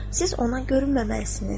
Siz ona görünməməlisiniz.